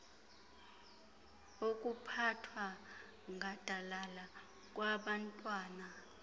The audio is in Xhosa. okuphathwa gadalala kwabantwana